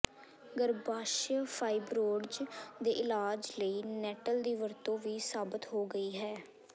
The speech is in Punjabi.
ਗਰੱਭਾਸ਼ਯ ਫਾਈਬ੍ਰੋਡਜ਼ ਦੇ ਇਲਾਜ ਲਈ ਨੈੱਟਲ ਦੀ ਵਰਤੋਂ ਵੀ ਸਾਬਤ ਹੋ ਗਈ ਹੈ